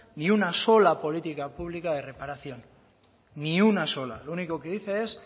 ni una sola política pública de reparación ni una sola lo único que dice es